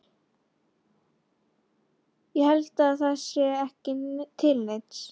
Ég held að það sé ekki til neins.